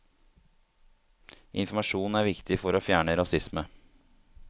Informasjon er viktig for å fjerne rasisme.